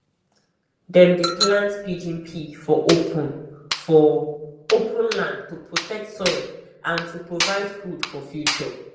dem dey plant pigeon pea for open for open land to protect soil and to provide food for future